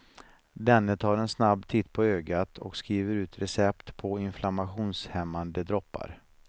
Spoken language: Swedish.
Denne tar en snabb titt på ögat och skriver ut recept på inflammationshämmande droppar.